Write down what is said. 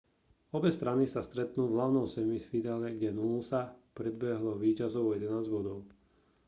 obe strany sa stretnú v hlavnom semifinále kde noosa predbehlo víťazov o 11 bodov